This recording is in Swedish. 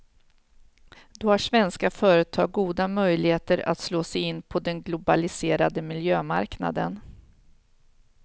Då har svenska företag goda möjligheter att slå sig in på den globaliserade miljömarknaden.